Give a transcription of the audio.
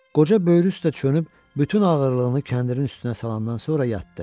Qoca böyrü üstə çönüb bütün ağırlığını kəndirin üstünə salandan sonra yatdı.